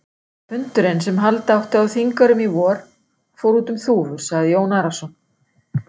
Fundurinn sem halda átti á Þingeyrum í vor, fór út um þúfur, sagði Jón Arason.